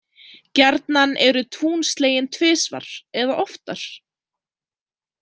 Gjarnan eru tún slegin tvisvar, eða oftar.